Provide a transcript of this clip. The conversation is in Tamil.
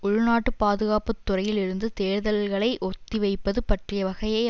உள்நாட்டு பாதுகாப்பு துறையில் இருந்து தேர்தல்களை ஒத்திவைப்பதுப் பற்றிய வகையை